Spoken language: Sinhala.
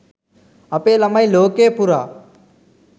අපේ ළමයි ලෝකය පුරා